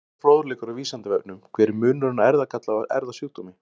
Frekari fróðleikur á Vísindavefnum: Hver er munurinn á erfðagalla og erfðasjúkdómi?